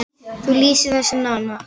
Hún lýsir þessu nánar.